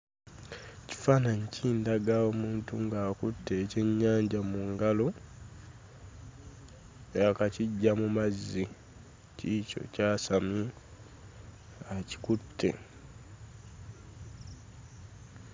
Ekifaananyi kindaga omuntu ng'akutte ekyennyanja mu ngalo. Yaakakiggya mu mazzi, kiikyo ky'asamye, akikutte.